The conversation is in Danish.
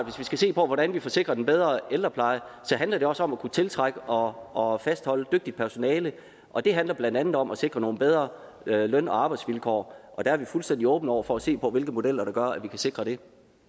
hvis vi skal se på hvordan vi får sikret en bedre ældrepleje så handler det også om at kunne tiltrække og fastholde dygtigt personale og det handler blandt andet om at sikre nogle bedre løn og arbejdsvilkår og der er vi fuldstændig åbne over for at se på hvilke modeller der gør at vi kan sikre det